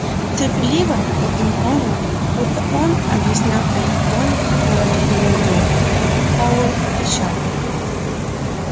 терпеливо таким тоном будто он объяснял электронику малолетнему идиоту пауэлл отвечал